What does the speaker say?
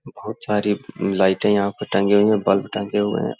बहुत सारी लाइटे यहाँ पे टंगी हुई है बल्ब टंगे हुए हैं ।